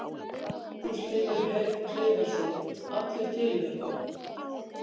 Magnús Hlynur Hreiðarsson: Allir til í þetta?